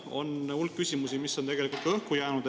On hulk küsimusi, mis on tegelikult ka õhku jäänud.